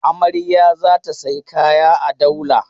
Amarya za ta sayi kaya a Daula.